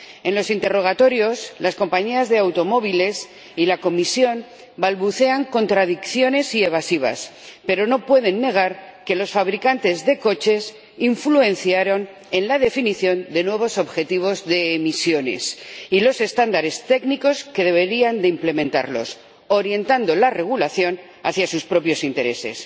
En los interrogatorios, las compañías de automóviles y la Comisión balbucean contradicciones y evasivas, pero no pueden negar que los fabricantes de coches influenciaron la definición de nuevos objetivos de emisiones y los estándares técnicos que deberían implementarlos, orientando la regulación hacia sus propios intereses.